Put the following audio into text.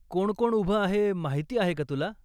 कोण कोण उभं आहे माहिती आहे का तुला?